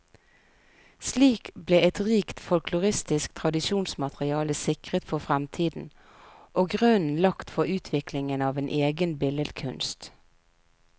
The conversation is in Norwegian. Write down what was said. Slik ble et rikt folkloristisk tradisjonsmateriale sikret for fremtiden, og grunnen lagt for utviklingen av en egen billedkunst.